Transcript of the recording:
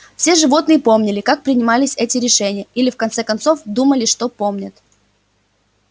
все животные помнили как принимались эти решения или в конце концов думали что помнят